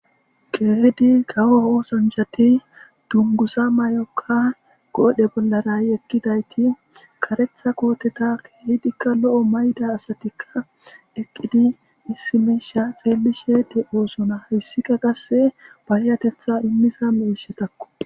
Keehid kawo osanchat dunguza mayoka qodhe bollara yegidayti karetha koteta kehid lo'o mayida asatika eqid issi misha xelishe de'osona hesika qase payatetha imiza mishatako.